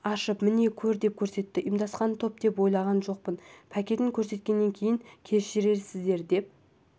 ашып міне көр деп көрсетті ұйымдасқан топ деп ойлаған жоқпын пакетін көрсеткеннен кейін кешірерсіздер деп